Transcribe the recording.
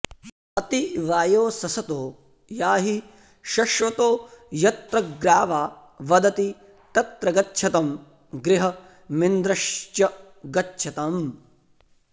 अति॑ वायो सस॒तो या॑हि॒ शश्व॑तो॒ यत्र॒ ग्रावा॒ वद॑ति॒ तत्र॑ गच्छतं गृ॒हमिन्द्र॑श्च गच्छतम्